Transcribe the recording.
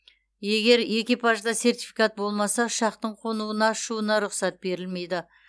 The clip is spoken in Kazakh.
егер экипажда сертификат болмаса ұшақтың қонуына ұшуына рұқсат берілмейді